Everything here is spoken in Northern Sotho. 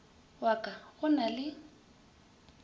wa ka go na le